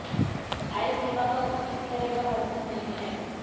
आय सीमा का किसी भी तरह का बंधन नहीं है